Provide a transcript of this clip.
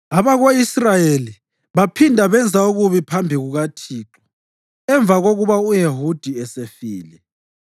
Abako-Israyeli baphinda benza okubi phambi kukaThixo, emva kokuba u-Ehudi esefile.